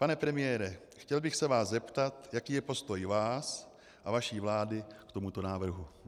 Pane premiére, chtěl bych se vás zeptat, jaký je postoj vás a vaší vlády k tomuto návrhu.